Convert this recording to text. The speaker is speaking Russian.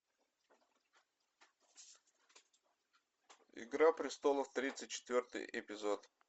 игра престолов тридцать четвертый эпизод